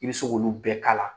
I bɛ se k'olu bɛɛ kala.